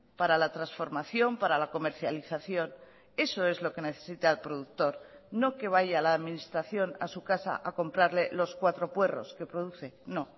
para la transformación para la comercialización eso es lo que necesita el productor no que vaya la administración a su casa a comprarle los cuatro puerros que produce no